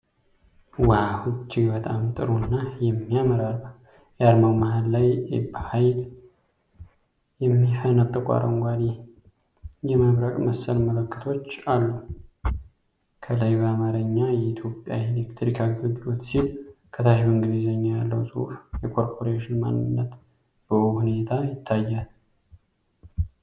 ዋው! እጅግ በጣም ጥሩ እና የሚያምር አርማ! የአርማው መሃል ላይ በኃይል የሚፈነጥቁ አረንጓዴ መብረቅ መሰል ምልክቶች አሉ። ከላይ በአማርኛ "የኢትዮጵያ ኤሌክትሪክ አገልግሎት" ሲል፣ ከታች በእንግሊዝኛ ያለው ጽሑፍ የኮርፖሬሽኑን ማንነት በውብ ሁኔታ ያሳያል።